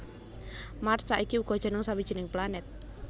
Mars saiki uga jeneng sawijining planet